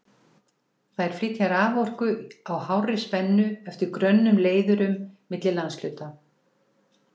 Þær flytja raforku á hárri spennu eftir grönnum leiðurum milli landshluta.